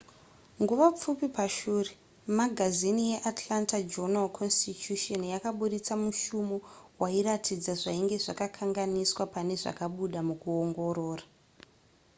nguva pfupi pashure magazini yeatlanta journal-constitution yakabudisa mushumo wairatidza zvainge zvakakanganiswa pane zvakabuda mukuongorora